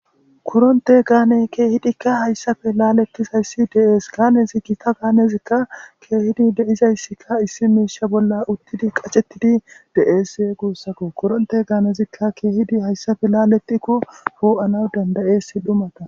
Koronte gaaney keehidikka hayssafe laletizayssi deees gaanezi gita gaanezikka keehidi deizayssika issi miisha bolla uttidi qacettidi dees guussakko koronte gaanezikka keehidi hayssafe laaletikko fuo7ana dandayessi dhumata.